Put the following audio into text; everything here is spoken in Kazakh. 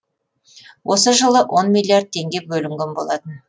осы жылы он миллиард теңге бөлінген болатын